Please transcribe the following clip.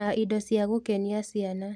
Na indo cia gũkenia ciana